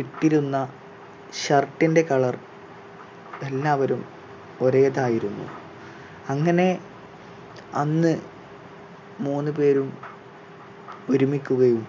ഇട്ടിരുന്ന shirt ന്റെ colour എല്ലാവരും ഒരേതായിരുന്നു. അങ്ങനെ അന്ന് മൂന്ന് പേരും ഒരുമിക്കുകയും